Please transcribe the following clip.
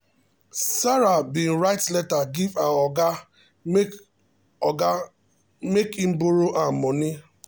sarah bin write letter give her oga make oga make him borrow am moni